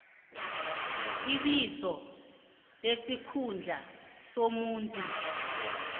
ibizo nesikhundla somuntu